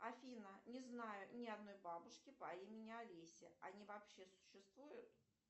афина не знаю ни одной бабушки по имени алеся они вообще существуют